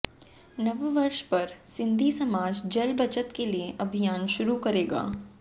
नववर्ष पर सिंधी समाज जल बचत के लिए अभियान शुरू करेगा